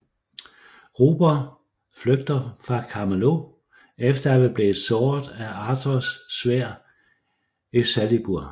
Ruber flygter fra Camelot efter at være blevet såret af Arthurs sværd Excalibur